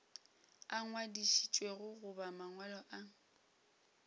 a ngwadišitšwego goba mangwalo a